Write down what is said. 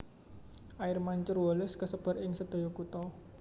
Air Mancur Wallace kasebar ing sedaya kutha